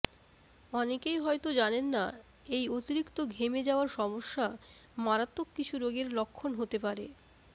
অনেকেই হয়তো জানেন না এই অতিরিক্ত ঘেমে যাওয়ার সমস্যা মারাত্মক কিছু রোগের লক্ষণ হতে পারে